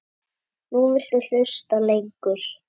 Nú viltu hlusta lengur.